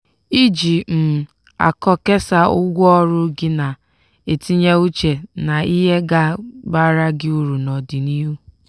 iji um akọ kesaa ụgwọ ọrụ gị na-etinye uche na ihe ga-abara gị uru n'ọdịnihu.